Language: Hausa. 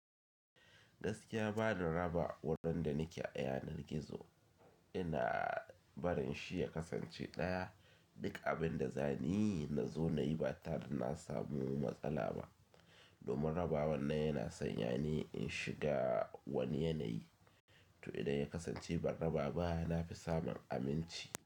Gaskiya bani raba wadanda nake ayanan gizo, ina barin shi ya kasance ɗaya. Duk abin da zaniyi na zo nayi ba tare da na samu matsala ba. Domin raba wannan yana son yani in shiga wani yanayi, to idan ya kasance ban raba ba nafi samun aminci.